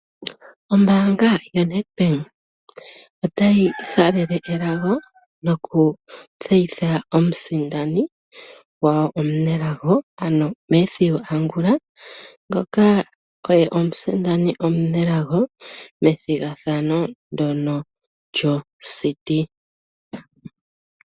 Ombaanga yoNedbank otayi halele elago noku tseyitha omusindani gwawo omunelago ano Mathew Angula ngoka oye omusindani omunelago methigathano ndono lyociti.